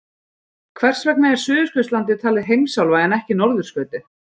Hvers vegna er Suðurskautslandið talið heimsálfa en ekki norðurskautið?